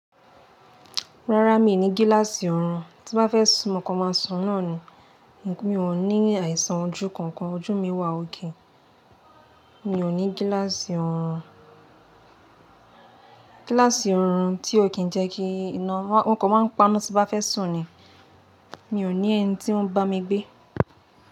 Rárá mi ò ní gíláàsì ọ̀run, tí bá fẹ́ sún mo kàn má sùn náà ni, mi ò ní àìsàn ojú kankan, ojú mi wà okay, mi ò ní gíláàsì ọ̀run, gíláàsì ọ̀run tí ó kí ń jẹ́ kí iná, mo kàn máa ń paná tí bá fẹ́ sùn ni, mi ò ní ẹni tí ó ń bá mi gbé.